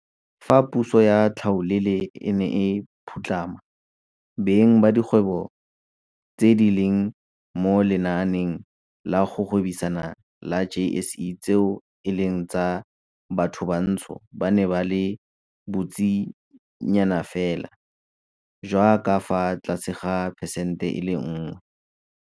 Fa puso ya tlhaolele e ne e phutlhama, beng ba dikgwebo tse di leng mo lenaaneng la go gwebisana la JSE tseo e leng tsa bathobantsho ba ne ba le bontsinyanafela jwa ka fa tlase ga phesente e le nngwe.